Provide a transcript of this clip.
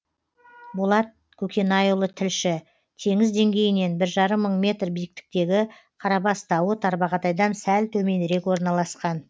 болат көкенайұлы тілші теңіз деңгейінен бір жарым мың метр биіктіктегі қарабас тауы тарбағатайдан сәл төменірек орналасқан